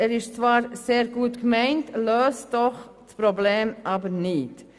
Er ist zwar sehr gut gemeint, löst aber das Problem nicht.